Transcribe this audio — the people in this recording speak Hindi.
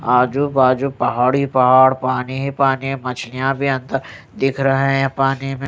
आजू बाजू पहाड़ ही पहाड़ पानी ही पानी है मछलियां भी अंदर दिख रहे हैं पानी में।